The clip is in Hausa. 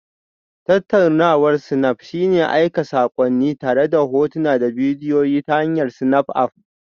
Tattaunawar snap shine aika saƙonni tare da hotuna da bidiyo ta hanyar Snapchat App